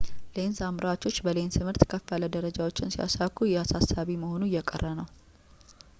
ሌንስ አምራቾች በሌንስ ምርት ከፍ ያሉ ደረጃዎችን ሲያሳኩ ይህ አሳሳቢ መሆኑ እየቀረ ነው